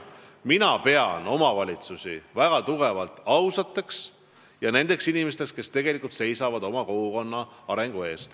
Mina pean omavalitsusi väga ausateks ja usun, et need inimesed tegelikult seisavad oma kogukonna arengu eest.